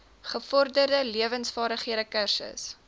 gevorderde lewensvaardighede kursus